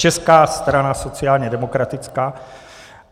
Česká strana sociálně demokratická.